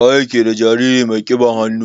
Waye ke ɗa jariri mai kiɓan hannu?